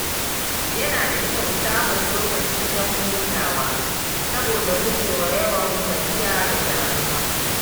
Yana da kyau Samun lokaci don hutawa, saboda gujewa yawan gajiya da damuwa.